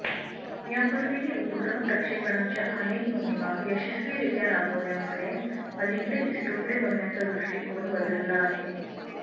यापूर्वीही उपग्रह प्रक्षेपणाच्या अनेक मोहिमा यशस्वीरीत्या राबवल्यामुळे अलीकडे इस्रोकडे बघण्याचा दृष्टिकोन बदलला आहे